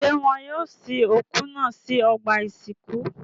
Ṣé wọn yóò sin òkú náà sí ọgbà-ìsìnkú?